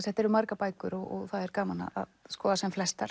þetta eru margar bækur og það er gaman að skoða sem flestar